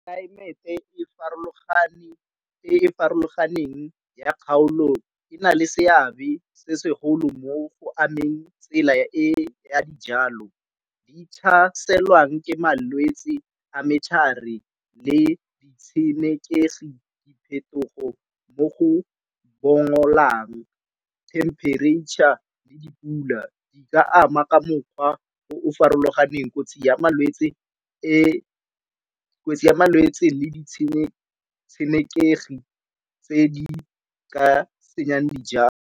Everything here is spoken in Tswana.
Tlelaemete e e farologaneng ya kgaolo e na le seabe se segolo mo go ameng tsela e ya dijalo ditlhaselwang ke malwetse a metlhare le ditshenekegi diphetogo mo go bongolang. Temperature le dipula di ka ama ka mokgwa o farologaneng kotsi ya malwetse le ditshenekegi tse di ka senyang dijalo.